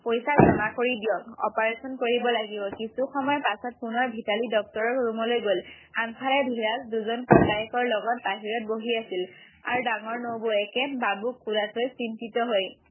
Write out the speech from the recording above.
পইচা জমা কৰি দিয়ক অপাৰেশ্যন কৰিব লাগিব কিছু সময়ৰ পাছত পুনৰ ভিতালী ডক্তৰৰ ৰোমলৈ গ'ল আগফালে ধীৰজ দুজন ককায়েকৰ লগত বাহিৰত বহি আছিল আৰু ডাঙৰ নবৌৱেকে বাবুক কোলাত লৈ চিন্তিত হৈ